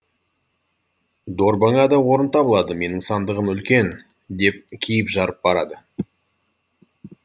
дорбаңа да орын табылады менің сандығым үлкен деп киіп жарып барады